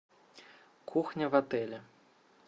кухня в отеле